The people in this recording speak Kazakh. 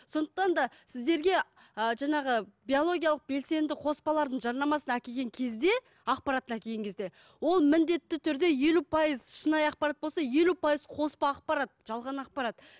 сондықтан да сіздерге а жаңағы биологиялық белсенді қоспалардың жарнамасын әкелген кезде ақпаратын әкелген кезде ол міндетті түрде елу пайыз шынайы ақпарат болса елу пайыз қоспа ақпарат жалған ақпарат